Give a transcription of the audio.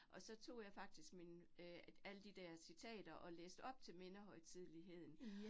Og så tog jeg faktisk min øh alle de der citater, og læste op til mindehøjtidligheden